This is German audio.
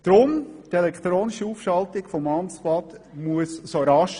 Deshalb muss die elektronische Aufschaltung des Amtstrès pertinente.